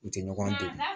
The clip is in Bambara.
U tɛ ɲɔgɔn don